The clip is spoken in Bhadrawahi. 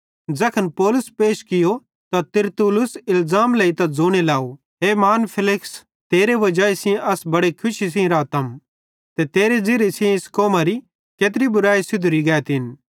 ज़ैखन पौलुस पैश कियो त तिरतुल्लुस इलज़ाम लेइतां ज़ोने लाव हे महान फेलिक्स तेरे वजाई सेइं अस बड़े खुशी सेइं रातम ते तेरे ज़िरिये सेइं इस कौमरी केत्री बुरैई सुधैरी गैतिन